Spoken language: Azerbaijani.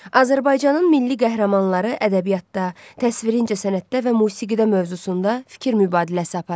Azərbaycanın milli qəhrəmanları ədəbiyyatda, təsvirincə sənətdə və musiqidə mövzusunda fikir mübadiləsi aparın.